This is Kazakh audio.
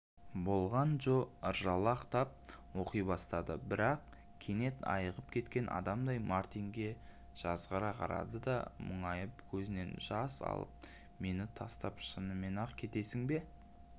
болған джо ыржалақтап оқи бастады бірақ кенет айығып кеткен адамдай мартинге жазғыра қарады да мұңайып көзінен жас алыпмені тастап шынымен-ақ кетесің бе